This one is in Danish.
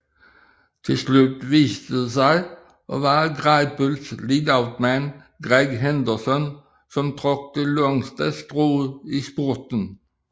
Tilslut viste det sig at være Greipels leadoutman Greg Henderson som trak det længste strå i spurten